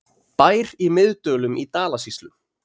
Bær í Miðdölum í Dalasýslu.